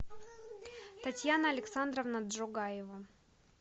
татьяна александровна джугаева